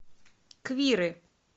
квиры